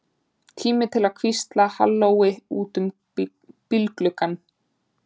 Tíma til að hvísla hallói út um bílgluggann.